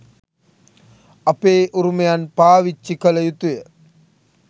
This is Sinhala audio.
අපේ උරුමයන් පාවිච්චි කළ යුතුය.